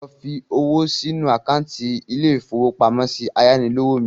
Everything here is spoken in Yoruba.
Lọ fi owó sínu àkántì ilé-ìfowópamọ́sí ayánilówó mi